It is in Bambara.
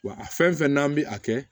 Wa a fɛn fɛn n'an bi a kɛ